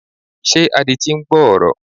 Ṣé adití ń gbọ́ ọ̀rọ̀?